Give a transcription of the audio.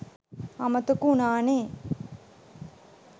අමතක වුනානෙ